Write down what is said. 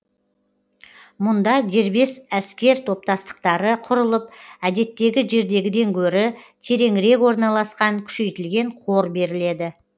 мұнда дербес әскер топтастықтары құрылып әдеттегі жердегіден гөрі тереңірек орналасқан күшейтілген қор беріледі